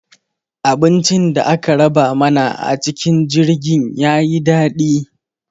Abincin da aka raba mana a cikin jirgin ya yi daɗi.